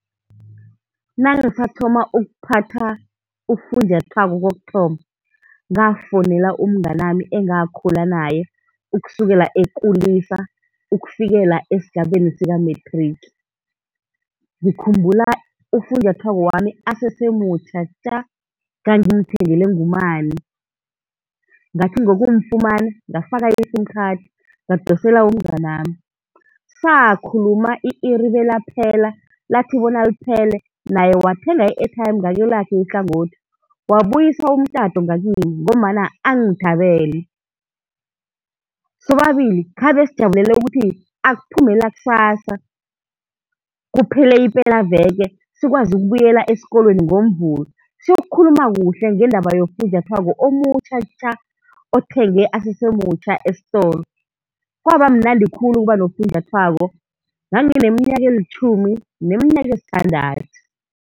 Nangisathoma ukuphatha ufunjathwako kokuthoma ngafowunela umnganami engakhula naye ukusukela ekulisa ukufikela esigabeni sikamethriki. Ngikhumbula ufunjathwako wami asese mutjha tja. ngangimthengelwe ngumani. Ngathi ngokumfumana ngafaka i-sim card, ngadosela umnganami. Sakhuluma i-iri belaphela, lathi bona liphele naye wathenga i-airtime ngakelakhe ihlangothi, wabuyisa umtato ngakimi ngombana angithabele. Sobabili khabe sijabulele ukuthi akuphume lakusasa, kuphele ipelaveke sikwazi ukubuyela esikolweni ngoMvulo siyokukhuluma kuhle ngendaba yofunjathwako omutjha tja. Othengwe asese mutjha esitolo. Kwaba mnandi khulu ukuba nofunjathwako, ngangineminyaka elitjhumi neminyaka esithandathu.